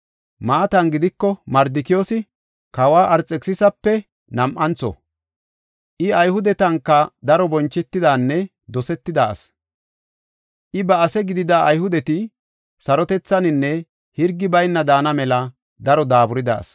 Maatan gidiko, Mardikiyoosi kawa Arxekisisape nam7antho. I Ayhudetanka daro bonchetidanne dosetida asi. I ba ase gidida Ayhudeti, sarotethaninne hirgi bayna daana mela daro daaburida asi.